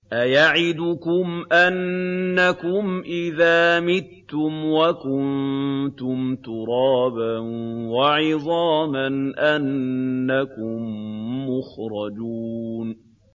أَيَعِدُكُمْ أَنَّكُمْ إِذَا مِتُّمْ وَكُنتُمْ تُرَابًا وَعِظَامًا أَنَّكُم مُّخْرَجُونَ